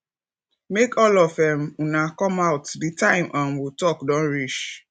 make all of um una come out the time um we talk don reach